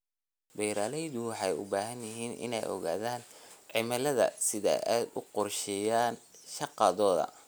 Beeralayda waxay u baahan yihiin inay ogaadaan cimilada si ay u qorsheeyaan shaqadooda.